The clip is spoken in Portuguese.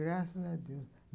Graças a Deus.